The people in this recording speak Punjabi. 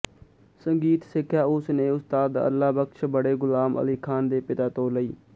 ਸੰਗੀਤ ਸਿੱਖਿਆ ਉਸ ਨੇ ਉਸਤਾਦ ਅੱਲ੍ਹਾ ਬਖ਼ਸ਼ ਬੜੇ ਗੁਲਾਮ ਅਲੀ ਖ਼ਾਨ ਦੇ ਪਿਤਾ ਤੋਂ ਲਈ